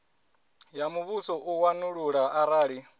ya muvhuso u wanulula arali